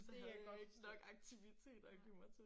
Det kan jeg godt forstå nej